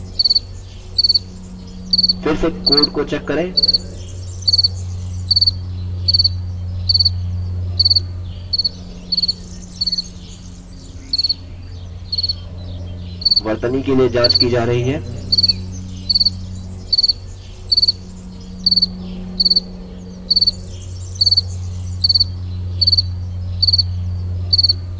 फिर से कोड को चेक करें वर्तनी के लिए जाँच की जा रही है